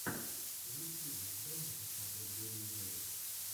в ютьюбе дай мне посмотреть бери и делай